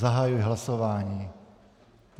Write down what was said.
Zahajuji hlasování.